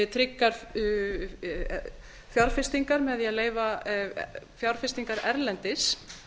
tryggar fjárfestingar með því að leyfa fjárfestingar erlendis